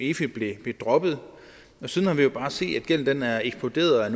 efi blev droppet og siden har vi jo bare set at gælden er eksploderet jeg